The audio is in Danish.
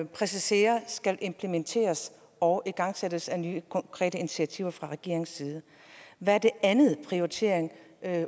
præciserer skal implementeres og igangsættes af nye konkrete initiativer fra regeringens side hvad er den anden prioritering